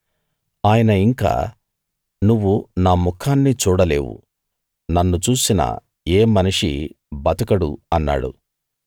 ఆయన ఇంకా నువ్వు నా ముఖాన్ని చూడలేవు నన్ను చూసిన ఏ మనిషీ బతకడు అన్నాడు